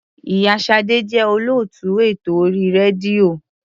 Ì̀yá Ṣadé jẹ́ olóòtú ètò orí rédíò.